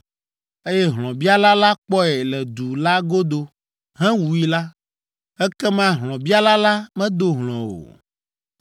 eye hlɔ̃biala la kpɔe le du la godo hewui la, ekema hlɔ̃biala la medo hlɔ̃ o,